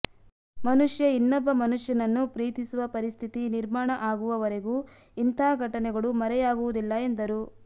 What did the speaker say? ಮನುಷ್ಯ ಇನ್ನೊಬ್ಬ ಮನುಷ್ಯನ ನ್ನು ಪ್ರೀತಿಸುವ ಪರಿಸ್ಥಿತಿ ನಿರ್ಮಾಣ ಆಗುವವರೆಗೂ ಇಂಥ ಘಟನೆಗಳು ಮರೆಯಾಗುವುದಿಲ್ಲ ಎಂದರು